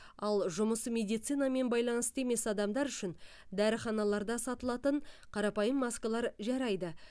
ал жұмысы медицинамен байланысты емес адамдар үшін дәріханаларда сатылатын қарапайым маскалар жарайды